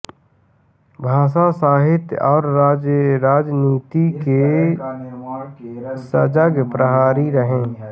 भाषा साहित्य और राजनीति के सजग प्रहरी रहे